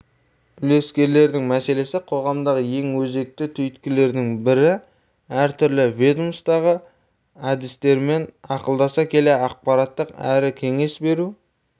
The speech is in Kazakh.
үлескерлердің мәселесі қоғамдағы ең өзекті түйткілдердің бірі әртүрлі ведомстводағы әріптестермен ақылдаса келе ақпараттық әрі кеңес беру